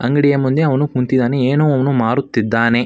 ಅಂಗಡಿಯ ಮುಂದೆ ಅವನು ಕುಂತಿದ್ದಾನೆ ಏನೋ ಅವನು ಮಾರುತ್ತಿದ್ದಾನೆ.